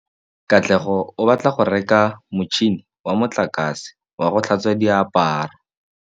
Katlego o batla go reka motšhine wa motlakase wa go tlhatswa diaparo.